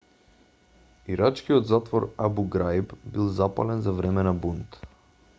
ирачкиот затвор абу граиб бил запален за време на бунт